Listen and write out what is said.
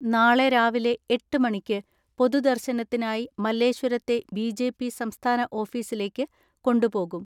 നാളെ രാവിലെ എട്ട് മണിക്ക് പൊതുദർശനത്തിനായി മല്ലേശ്വരത്തെ ബി ജെ പി സംസ്ഥാന ഓഫീസിലേക്ക് കൊണ്ടുപോകും.